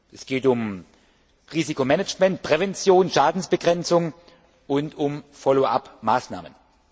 Es geht um Risikomanagement, Prävention, Schadensbegrenzung und um Follow up Maßnahmen.